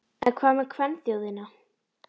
En hvað með kvenþjóðina?